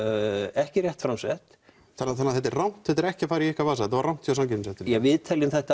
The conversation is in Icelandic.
ekki rétt framsett þannig að þetta er rangt þetta er ekki að fara í ykkar vasa þetta var rangt hjá samkeppniseftirlitinu við teljum þetta